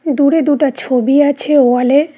দূরে দুটা ছবি আছে ওয়াল -এ